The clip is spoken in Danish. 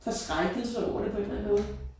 Forskrækkelse over det på en eller anden måde